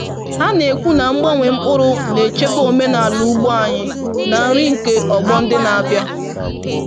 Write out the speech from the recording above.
Ha na-ekwu na mgbanwe mkpụrụ na-echebe omenala ugbo anyị na nri nke ọgbọ ndị na-abịa.